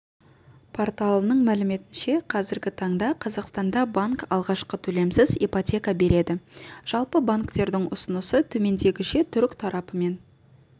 порталының мәліметінше қазіргі таңда қазақстанда банк алғашқы төлемсіз ипотека береді жалпы банктердің ұсынысы төмендегіше түрік тарапымен